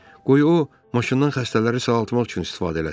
Qoy o maşından xəstələri sağaltmaq üçün istifadə eləsin.